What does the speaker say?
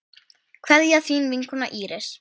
Kveðja, þín vinkona Íris.